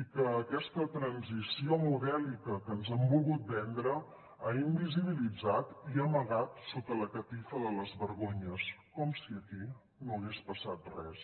i que aquesta transició modèlica que ens han volgut vendre ha invisibilitat i amagat sota la catifa de les vergonyes com si aquí no hagués passat res